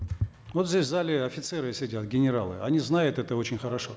вот здесь в зале офицеры сидят генералы они знают это очень хорошо